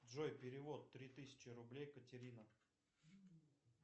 джой перевод три тысячи рублей катерина